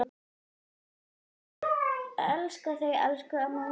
Elska þig elsku amma mín.